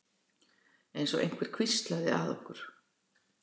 Einsog einhver hvíslaði að okkur.